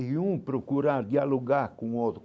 E um procurar, dialogar com o